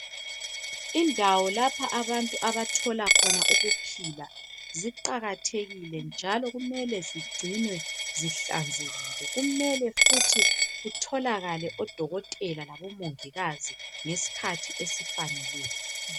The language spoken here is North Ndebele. Indawo lapha abantu abathola khona ukuphila ziqakathekile njalo kumele zigcinwe zihlanzekile kumele futhi kutholakale odokotela labomongikazi ngesikhathi esifaneleyo.